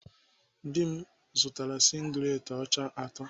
Dị m zụtara singlet ọcha atọ.